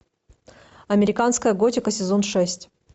американская готика сезон шесть